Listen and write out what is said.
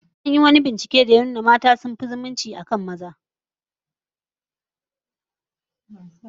An yi wani binciken da ya nuna mata sun fi zumunci bisa maza